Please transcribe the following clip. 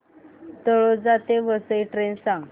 तळोजा ते वसई ट्रेन सांग